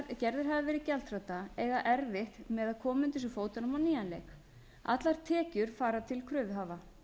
gerðir hafa verið gjaldþrota eiga erfitt með að koma undir sig fótunum á nýjan leik allar tekjur fara til kröfuhafa